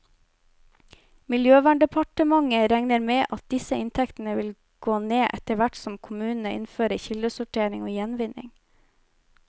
Miljøverndepartementet regner med at disse inntektene vil gå ned, etterhvert som kommunene innfører kildesortering og gjenvinning.